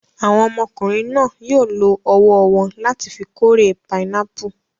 Àwọn ọmọkùnrin náà yóò lo ọwọ́ wọn láti fi kórè pinápù.